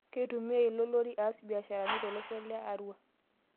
Keitumiai ilo lori aas mbiasharani tolosho le Arua